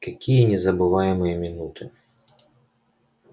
какие незабываемые минуты